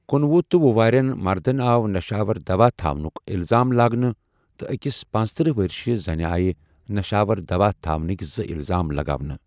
کنۄہُ تہٕ ۄہُ وٕہٕرین مردن آو نشاور دَوا تھاونُک اِلزام لاگنہٕ ، تہٕ أکِس پنژتٔرہ ؤرِشہِ زنہِ آیہ نشآور دَوا تھاونکہِ زٕ اِلزام لگاونہٕ ۔